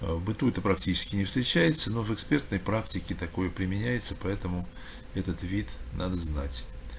аа в быту это практически не встречается но в экспертной практике такое применяется поэтому этот вид надо знать